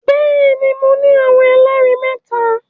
Bẹẹni, Mo ni awọn ẹlẹri mẹta